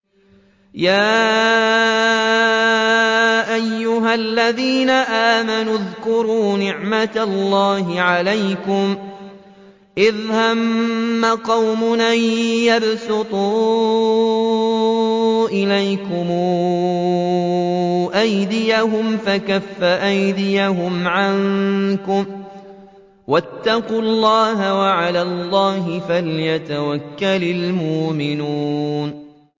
يَا أَيُّهَا الَّذِينَ آمَنُوا اذْكُرُوا نِعْمَتَ اللَّهِ عَلَيْكُمْ إِذْ هَمَّ قَوْمٌ أَن يَبْسُطُوا إِلَيْكُمْ أَيْدِيَهُمْ فَكَفَّ أَيْدِيَهُمْ عَنكُمْ ۖ وَاتَّقُوا اللَّهَ ۚ وَعَلَى اللَّهِ فَلْيَتَوَكَّلِ الْمُؤْمِنُونَ